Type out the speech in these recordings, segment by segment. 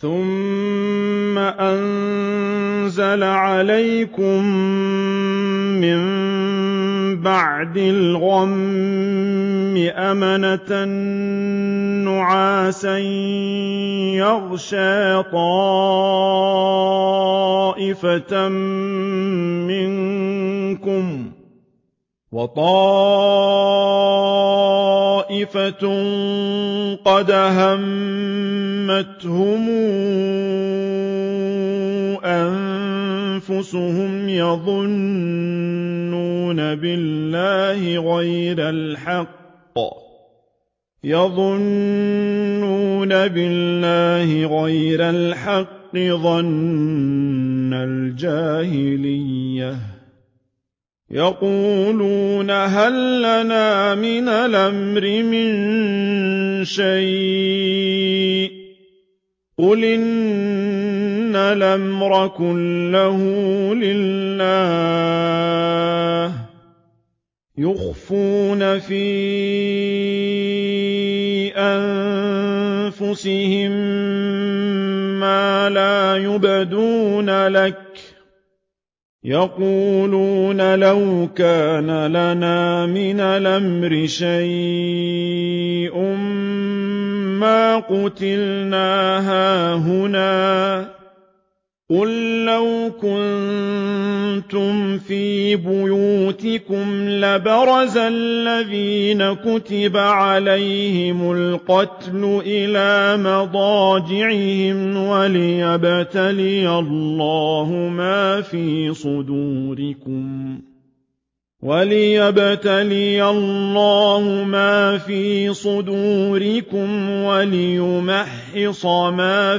ثُمَّ أَنزَلَ عَلَيْكُم مِّن بَعْدِ الْغَمِّ أَمَنَةً نُّعَاسًا يَغْشَىٰ طَائِفَةً مِّنكُمْ ۖ وَطَائِفَةٌ قَدْ أَهَمَّتْهُمْ أَنفُسُهُمْ يَظُنُّونَ بِاللَّهِ غَيْرَ الْحَقِّ ظَنَّ الْجَاهِلِيَّةِ ۖ يَقُولُونَ هَل لَّنَا مِنَ الْأَمْرِ مِن شَيْءٍ ۗ قُلْ إِنَّ الْأَمْرَ كُلَّهُ لِلَّهِ ۗ يُخْفُونَ فِي أَنفُسِهِم مَّا لَا يُبْدُونَ لَكَ ۖ يَقُولُونَ لَوْ كَانَ لَنَا مِنَ الْأَمْرِ شَيْءٌ مَّا قُتِلْنَا هَاهُنَا ۗ قُل لَّوْ كُنتُمْ فِي بُيُوتِكُمْ لَبَرَزَ الَّذِينَ كُتِبَ عَلَيْهِمُ الْقَتْلُ إِلَىٰ مَضَاجِعِهِمْ ۖ وَلِيَبْتَلِيَ اللَّهُ مَا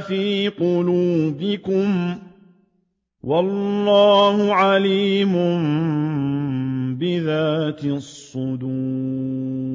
فِي صُدُورِكُمْ وَلِيُمَحِّصَ مَا فِي قُلُوبِكُمْ ۗ وَاللَّهُ عَلِيمٌ بِذَاتِ الصُّدُورِ